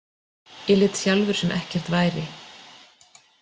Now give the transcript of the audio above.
Ég lét sjálfur sem ekkert væri.